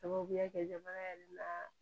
Sababuya kɛ jamana yɛrɛ la